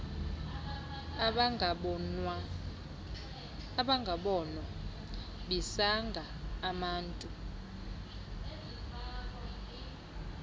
ezingabonwa bisanga amantu